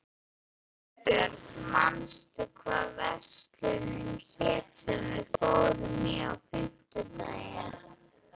Hugbjörg, manstu hvað verslunin hét sem við fórum í á fimmtudaginn?